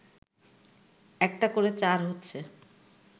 একটা করে চার হচ্ছে